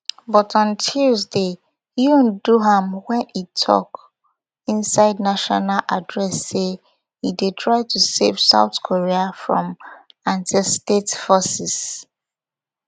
but on tuesday yoon do am wen e tok inside national address say e dey try to save south korea from antistate forces